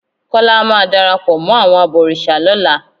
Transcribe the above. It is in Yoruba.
Kọ́lá máa darapọ̀ mọ́ àwọn abọ̀rìṣà lọ́la.